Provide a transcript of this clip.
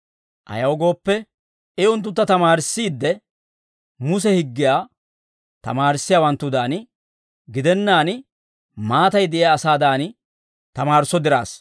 Ayaw gooppe, I unttuntta tamaarissiidde, Muse higgiyaa tamaarissiyaawanttudan gidennaan, maatay de'iyaa asaadan tamaarisso diraassa.